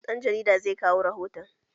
Ɗan jarida zai kawo rihoton